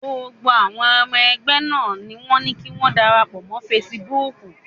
Gbogbo àwọn ọmọ ẹgbẹ́ náà ni wọ́n ní kí wọ́n darapọ̀ mọ́ Facebook.